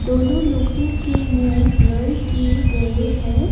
दोनों लोगो के मुंह ब्लर किए गए है।